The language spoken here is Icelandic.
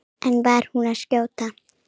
En var hún að skjóta?